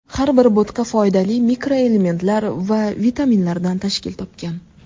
Har bir bo‘tqa foydali mikroelementlar va vitaminlardan tashkil topgan.